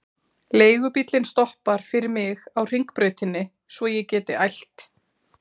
Leigubíllinn stoppar fyrir mig á Hringbrautinni svo ég geti ælt.